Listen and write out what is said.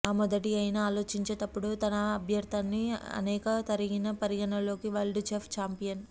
ఆ మొదటి అయిన ఆలోచించేటప్పుడు తన అభ్యర్థిత్వాన్ని అనేక తగిన పరిగణలోకి వరల్డ్ చెస్ ఛాంపియన్